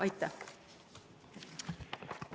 Aitäh!